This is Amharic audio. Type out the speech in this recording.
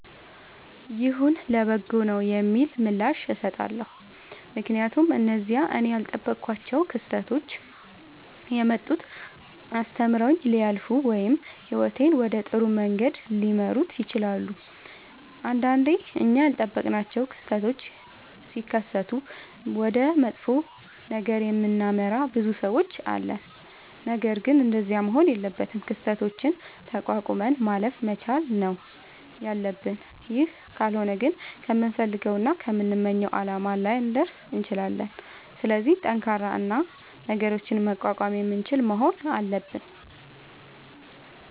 ይሁን ለበጎ ነዉ የሚል ምላሽ እሠጣለሁ። ምክንያቱም እነዚያ እኔ ያልጠበኳቸዉ ክስተቶች የመጡት አስተምረዉኝ ሊያልፉ ወይም ህይወቴን ወደ ጥሩ መንገድ ሊመሩት ይችላሉ። ንዳንዴ እኛ ያልጠበቅናቸዉ ክስተቶች ሢከሠቱ ወደ መጥፎ ነገር የምናመራ ብዙ ሠዎች አለን። ነገርግን እንደዚያ መሆን የለበትም። ክስተቶችን ተቋቁመን ማለፍ መቻል ነዉ ያለብን ይህ ካልሆነ ግን ከምንፈልገዉና ከምንመኘዉ አላማ ላንደርስ እንችላለን። ስለዚህ ጠንካራ እና ነገሮችን መቋቋም የምንችል መሆን አለብን።